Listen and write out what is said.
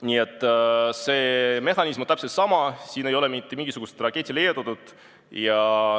Nii et see mehhanism on täpselt sama, siin ei ole mitte mingisugust raketti leiutatud.